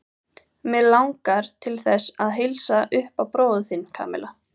Mig langar til þess að heilsa upp á bróður þinn, Kamilla.